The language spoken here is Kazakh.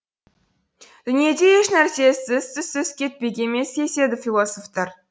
дүниеде ешнәрсе ізсіз түзсіз кетпек емес деседі философтар